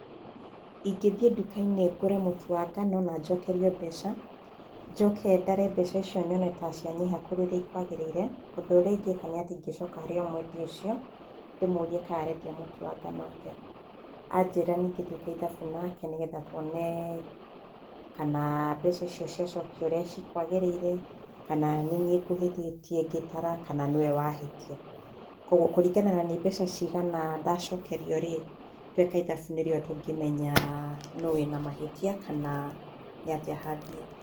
Ingĩthiĩ nduka-inĩ ngũre mũtu wa ngano na njokerio mbeca, njoke ndare mbeca icio nyone ta cianyiha gũkĩra ũrĩa ikwagĩrĩire, ũndũ ũrĩa ingĩka nĩ atĩ ingĩcoka harĩ o mwendia ũcio, ndĩmũrie kai arendia mũtu atĩa, anjĩra twĩke ithabu nake nĩ getha tuone kana mbeca icio ciacokio ũrĩa cikwagĩrĩire kana nĩniĩ ngũhĩtĩtie ngĩtara kana nĩwe wa hĩtia. Kwoguo, kũringana nĩ mbeca cigana ndacokerio-rĩ tweka ithabu nĩguo tũngĩmenya nũ wĩna mahĩtia kana nĩatĩa hangĩthiĩ.